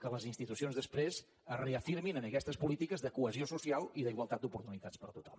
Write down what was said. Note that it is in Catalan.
que les institucions després es reafirmin en aquestes polítiques de cohesió social i d’igualtat d’oportunitats per a tothom